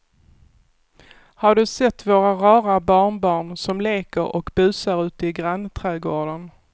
Har du sett våra rara barnbarn som leker och busar ute i grannträdgården!